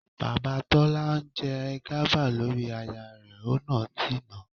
Bàbá Tọ́lá tí ń jẹ gàba lórí aya rẹ ọ̀nà ti nà.